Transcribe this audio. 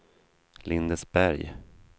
Lindesberg